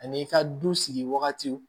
Ani i ka du sigi wagatiw